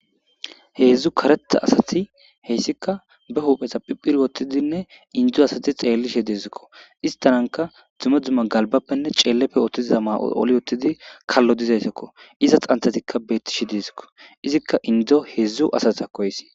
heedzdzu karetta asati heyssika ba huupheta phiphir wottidinne indo asati xeellishe deezikko istananka dzume dzumma galbappenne ceelleppe oottiza ma7oli wottidi kallo dizaytekko iza xanthatikka bettishe deezikko izikka indo heedzdzu asat akoysi